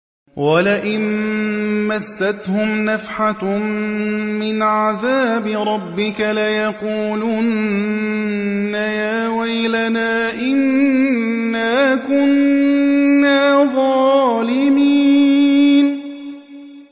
وَلَئِن مَّسَّتْهُمْ نَفْحَةٌ مِّنْ عَذَابِ رَبِّكَ لَيَقُولُنَّ يَا وَيْلَنَا إِنَّا كُنَّا ظَالِمِينَ